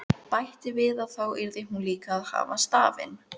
Bætti við að þá yrði hún líka að hafa stafinn.